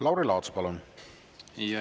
Lauri Laats, palun!